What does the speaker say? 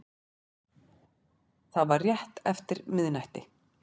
Það var rétt eftir miðnætti